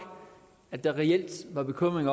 at der reelt var bekymring